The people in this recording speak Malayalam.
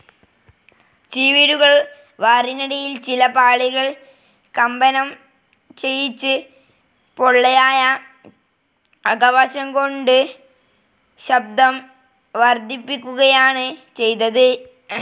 ചിവീടുകൾ വാറിനടിയിൽ ചില പാളികൾ കമ്പനം ചെയ്യിച്ച് പൊള്ളയായ അകവശം കൊണ്ട് ശബ്ദം വർധിപ്പിക്കുകയാണ് ചെയ്തത്.